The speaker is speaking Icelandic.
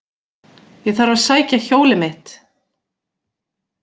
Ég þarf að sækja hjólið mitt.